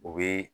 U bɛ